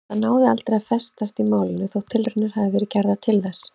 Það náði aldrei að festast í málinu þótt tilraunir hafi verið gerðar til þess.